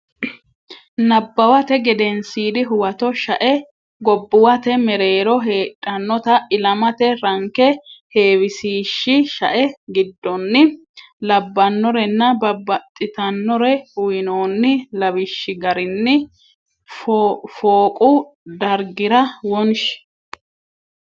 Nabbawate Gedensiidi Huwato shae gobbuwate mereero heedhannota ilamate ranke heewisiishshi shae giddonni labbannorenna babbaxxitannore uynoonni lawishshi garinni fooqu dargira wonshi.